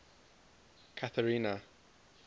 catherina